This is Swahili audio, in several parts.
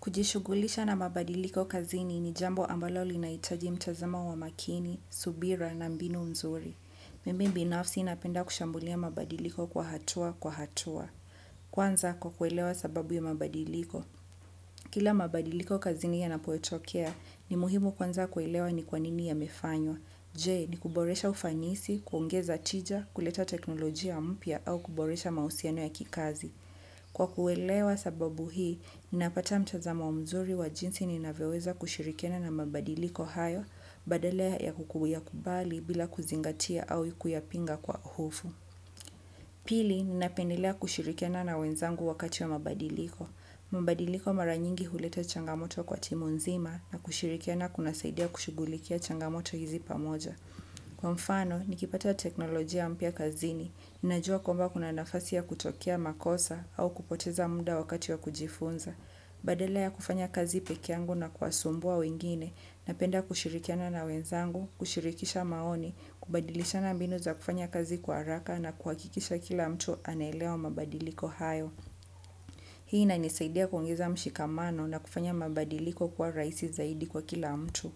Kujishughulisha na mabadiliko kazini ni jambo ambalo linahitaji mtazamo wa makini, subira na mbinu mzuri. Mimi binafsi napenda kushambulia mabadiliko kwa hatua kwa hatua. Kwanza kwa kuelewa sababu ya mabadiliko. Kila mabadiliko kazini yanapo tokea ni muhimu kwanza kuelewa ni kwanini yamefanywa. Je ni kuboresha ufanisi, kuongeza tija, kuleta teknolojia mpya au kuboresha mahusiano ya kikazi. Kwa kuelewa sababu hii, ninapata mtazamo mzuri wa jinsi ninavyo weweza kushirikiana na mabadiliko hayo, badala ya kukuyakubali bila kuzingatia au kuyapinga kwa hofu. Pili, ninapendelea kushirikiana na wenzangu wakati wa mabadiliko. Mabadiliko mara nyingi huleta changa moto kwa timu nzima na kushirikiana kunasaidia kushughulikia changa moto hizi pamoja. Kwa mfano, nikipata teknolojia mpya kazini, ninajua kwamba kuna nafasi ya kutokea makosa au kupoteza muda wakati ya kujifunza. Badala ya kufanya kazi peke yangu na kuwasumbua wengine, napenda kushirikiana na wenzangu, kushirikisha maoni, kubadilishana mbinu za kufanya kazi kwa haraka na kuhakikisha kila mtu anelewa mabadiliko hayo. Hii inanisaidia kuongeza mshikamano na kufanya mabadiliko kuwa rahisi zaidi kwa kila mtu.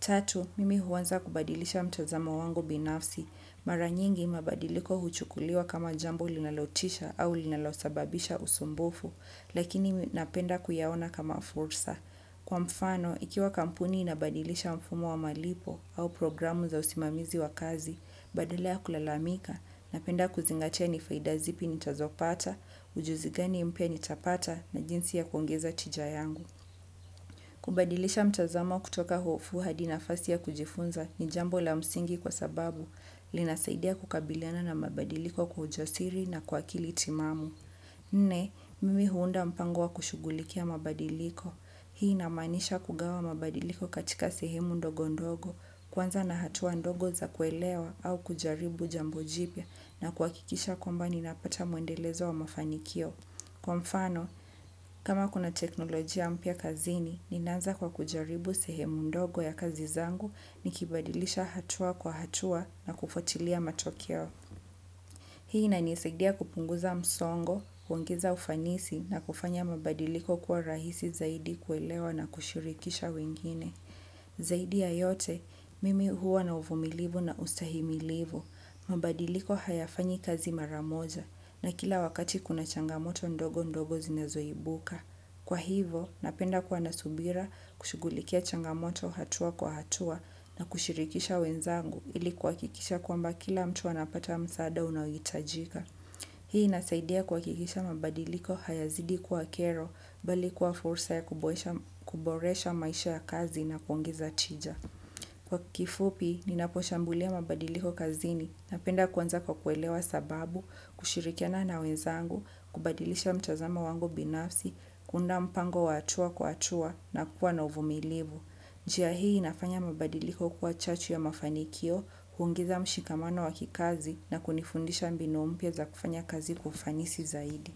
Tatu, mimi huanza kubadilisha mtazamo wangu binafsi. Mara nyingi mabadiliko huchukuliwa kama jambo linalotisha au linalosababisha usumbufu, lakini napenda kuyaona kama fursa. Kwa mfano, ikiwa kampuni inabadilisha mfumo wa malipo au program za usimamizi wa kazi, badala ya kulalamika, napenda kuzingatia ni faida zipi nitazopata, ujuzi gani mpya nitapata na jinsi ya kuongeza tija yangu. Kubadilisha mtazamo kutoka hofu hadi nafasi ya kujifunza ni jambo la msingi kwa sababu linasaidiana kukabiliana na mabadiliko kwa ujasiri na kwa akili timamu. Nne, mimi huunda mpango wa kushughulikia mabadiliko. Hii inamanisha kugawa mabadiliko katika sehemu ndogo ndogo, kwanza na hatua ndogo za kuelewa au kujaribu jambo jipya na kuhakikisha kwamba ninapata muendelezo wa mafanikio. Kwa mfano, kama kuna teknolojia mpya kazini, ninaanza kwa kujaribu sehemu ndogo ya kazi zangu nikibadilisha hatua kwa hatua na kufuatilia matokeo. Hii inanisaidia kupunguza msongo, kuongeza ufanisi na kufanya mabadiliko kuwa rahisi zaidi kuelewa na kushirikisha wengine. Zaidi ya yote, mimi huwa na uvumilivu na ustahimilivu. Mabadiliko hayafanyi kazi mara moja na kila wakati kuna changamoto ndogo ndogo zinazo ibuka. Kwa hivo, napenda kua na subira kushugulikia changa moto hatua kwa hatua na kushirikisha wenzangu ili kuhakikisha kwamba kila mtu anapata msaada unao hitajika. Hii inasaidia kuhakikisha mabadiliko haya zidi kuwa kero bali kuwa fursa ya kuboresha maisha ya kazi na kuongeza tija. Kwa kifupi, ninaposhambulia mabadiliko kazini napenda kuanza kwa kuelewa sababu, kushirikiana na wenzangu, kubadilisha mtazamo wangu binafsi, kuunda mpango wa hatua kwa hatua na kuwa na uvumilivu. Njia hii inafanya mabadiliko kuwa chachu ya mafanikio, kuongeza mshikamano wa kikazi na kunifundisha mbinu mpya za kufanya kazi kwa ufanisi zaidi.